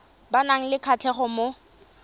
ba nang le kgatlhego mo